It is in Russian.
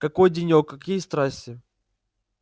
какой денёк какие страсти